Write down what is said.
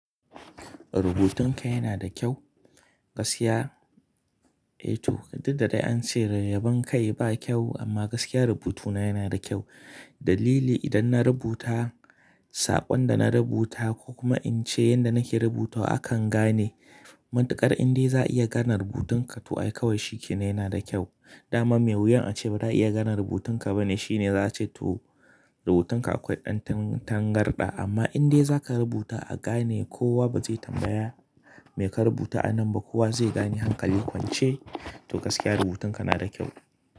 Rubutun ka yana da kyau gaskiya. Eh to didda dai an ce dai yabon kai ba kyau amma gaskiya rubutuna yana da kyau. Dalili idan na rubuta saƙon da na rubuta ko kuma in ce yanda nake rubutawa akan gane. Mantukar indai za a iya gane rubutun ka to ai kawai shi kenan yana da kyau. Daman mai wuyan a ce ba za a iya gane rubutun ka bane shine za a ce to rubutun ka akwai ɗan tangarɗa amma indai za ka rubuta a gane kowa ba zai tambaya me ka rubuta a nan ba kowa zai gane hankali kwance to gaskiya rubutun ka na da kyau.